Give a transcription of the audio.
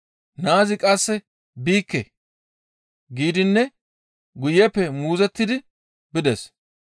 Naazi qasse, ‹Biikke!› giidinne guyeppe muuzottidi bides.